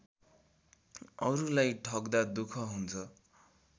अरूलाई ठग्दा दुख हुन्छ